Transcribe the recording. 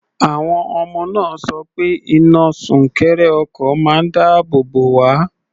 Àwọn ọmọ náà sọ pé iná súnkẹrẹ ọkọ̀ máa ń dáàbò bò wá.